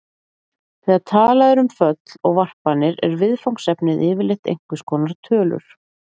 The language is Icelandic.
Þegar talað er um föll og varpanir er viðfangsefnið yfirleitt einhvers konar tölur.